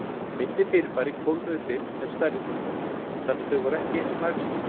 Minni fyrirbæri kólnuðu fyrr en stærri fyrirbæri, þannig að þau voru ekki eins lagskipt.